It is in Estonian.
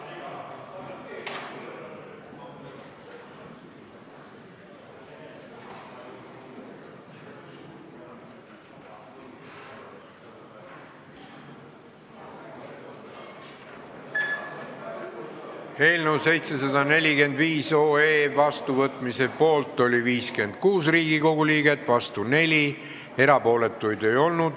Hääletustulemused Eelnõu 745 otsusena vastuvõtmise poolt oli 56 Riigikogu liiget, vastu oli 4, erapooletuid ei olnud.